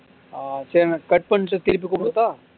ஆஹ் சரின்னே cut பண்ணிட்டு திருப்பி கூப்பிடட்டா